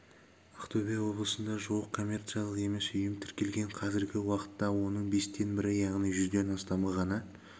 ақтөбе облысында жуық коммерциялық емес ұйым тіркелген қазіргі уақытта оның бестен бірі яғни жүзден астамы ғана